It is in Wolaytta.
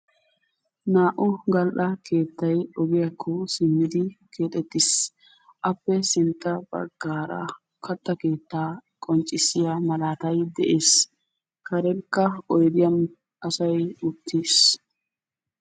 Naa'u gall'aa keettay oggiyakko simmidi keexxetis. Appe sintta baggara katta keetta qonccissiya maalatay de'ees. Karenka oyddiyan asaay uttiis.